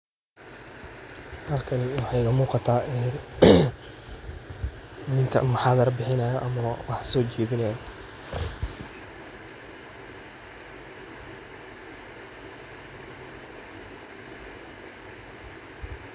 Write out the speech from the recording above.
Halkan waxay umugata ee nin mahadirada bihinayo ama sojedinaya.